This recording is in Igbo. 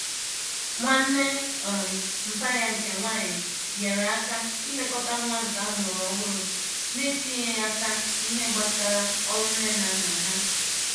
Nwanne um mpa ya nke nwanyi nyere aka ilekota nwa nke amuru ohuru n'etinyeghi aka n'ihe gbasara oru Nne na Nna ha